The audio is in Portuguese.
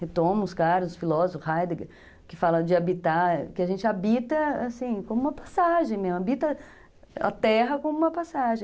retomo os caras, os filósofos, Heidegger, que fala de habitar, que a gente habita assim, como uma passagem, né, habita a terra como uma passagem.